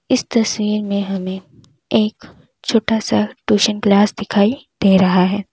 इस तस्वीर में हमें एक छोटा सा ट्यूशन क्लास दिखाइए दे रहा है।